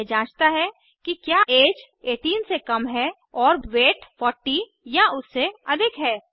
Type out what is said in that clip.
यह जाँचता है कि क्या ऐज 18 से कम है और वेट 40 या उससे अधिक है